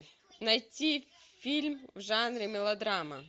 найти фильм в жанре мелодрама